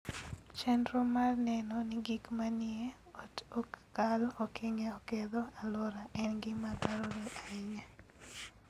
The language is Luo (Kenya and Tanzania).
Chenro mar neno ni gik manie ot ok kal okenge oketho alwora en gima dwarore ahinya.